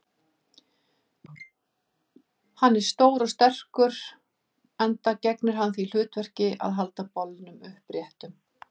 Hann er stór og sterkur, enda gegnir hann því hlutverki að halda bolnum uppréttum.